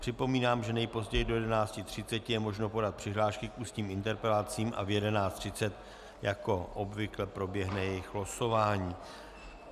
Připomínám, že nejpozději do 11.30 je možno podat přihlášky k ústním interpelacím a v 11.30 jako obvykle proběhne jejich losování.